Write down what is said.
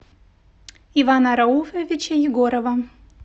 ивана рауфовича егорова